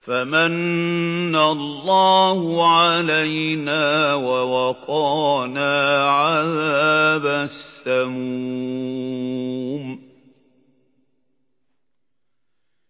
فَمَنَّ اللَّهُ عَلَيْنَا وَوَقَانَا عَذَابَ السَّمُومِ